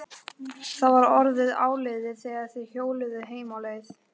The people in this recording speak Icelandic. Það var orðið áliðið þegar þeir hjóluðu heim á leið.